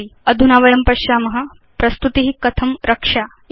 अधुना वयं पश्याम प्रस्तुति कथं रक्ष्या इति